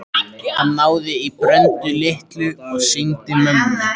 Hann náði í Bröndu litlu og sýndi mömmu.